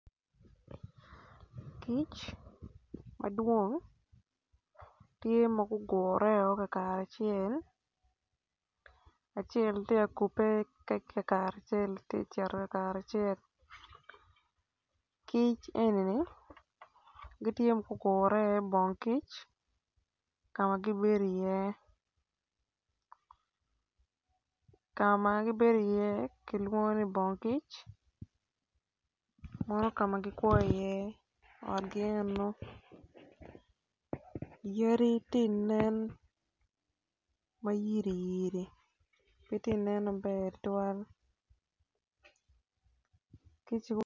Kic madwong tye ma gugureo ka kare acel acel tye ka kupe ma cito ka kare acel kic enini gitye ma gugure i bongkic ka ma gibedo iye ka ma gibedi iye kilwongo ni bong kic meno ka ma gikwo iye otgi eno yaditi nen ma yiriyiri pe tinen maber tutwal